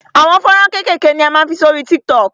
Àwọn fọ́nrán kékèké ni a máa ń fi sórí TikTok.